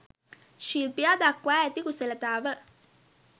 ශිල්පියා දක්වා ඇති කුසලතාව